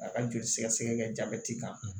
A ka joli sɛgɛsɛgɛ kɛ jabɛti kan